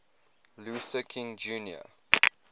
luther king jr